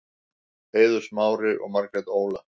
Eiður Smári og Margrét Óla